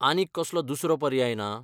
आनीक कसलो दुसरो पर्याय ना?